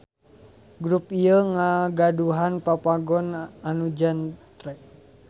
Grup ieu ngagaduhan Papagon anu jentre.